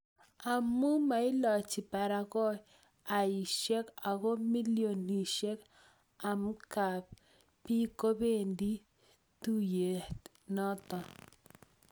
amu mailochi barakoaishek ago milionishek amkab biik kobendi tuiyetnoto